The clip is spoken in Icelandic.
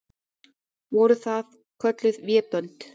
Voru það kölluð vébönd.